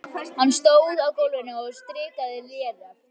Hann stóð á gólfinu og stikaði léreft.